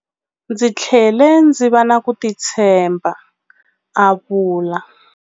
Ndzi tlhele ndzi va na ku titshemba, a vula.